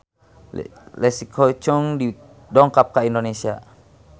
Leslie Cheung dongkap ka Indonesia